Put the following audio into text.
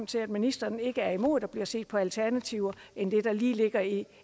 til at ministeren ikke er imod at der bliver set på andre alternativer end dem der lige ligger i